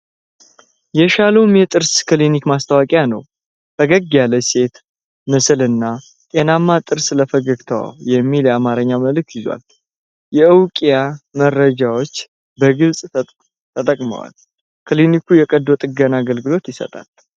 የሻሎም የጥርስ ክሊኒክ ማስታወቂያ ነው። ፈገግ ያለች ሴት ምስል እና "ጤናማ ጥርስ ለፈገግታዎ" የሚል የአማርኛ መልዕክት ይዟል። የእውቂያ መረጃዎች በግልፅ ተቀምጠዋል። ክሊኒኩ የቀዶ ጥገና አገልግሎት ይሰጣል?